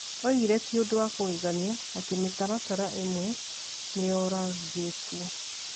Oigire ti ũndũ wa kũgegania atĩ mĩtaratara ĩmwe nĩ yoragĩtwo.